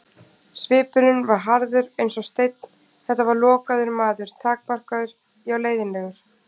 Svipurinn var harður eins og steinn, þetta var lokaður maður, takmarkaður, já leiðinlegur.